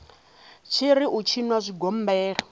tshi ri u tshinwa zwigombela